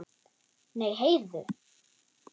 Nei, heyrðu.